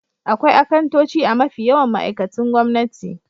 Akwai akantoci a mafi yawan ma'aikatun gwamnati.